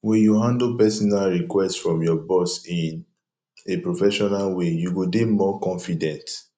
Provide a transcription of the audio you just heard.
when you handle personal request from your boss in a professional way you go dey more confident